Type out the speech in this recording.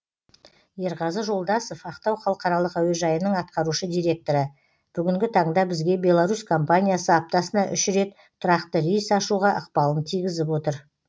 ерғазы жолдасов ақтау халықаралық әуежайының атқарушы директоры бүгінгі таңда бізге беларусь компаниясы аптасына үш рет тұрақты рейс ашуға ықпалын тигізіп отыр